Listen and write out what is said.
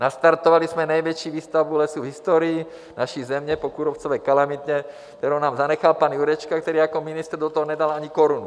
Nastartovali jsme největší výsadbu lesů v historii naší země po kůrovcové kalamitě, kterou nám zanechal pan Jurečka, který jako ministr do toho nedal ani korunu.